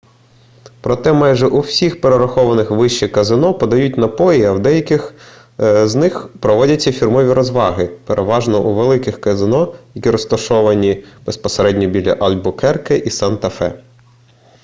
проте майже у всіх перерахованих вище казино подають напої а в деяких з них проводяться фірмові розваги переважно у великих казино які розташовані безпосередньо біля альбукерке і санта-фе